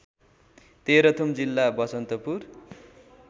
तेह्रथुम जिल्ला बसन्तपुर